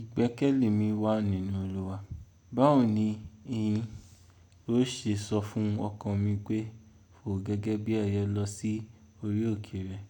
Ìgbẹ́kẹ̀lé mi wà nínú Olúwa. Báwo ni ìyín ló ṣe sọ fún ọkàn mi pé fò gẹ́gẹ́ bí ẹyẹ lọ sí orí òkè rẹ̀?